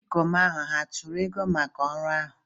Ndị ikom ahụ hà atụrụ ego maka ọrụ ahụ?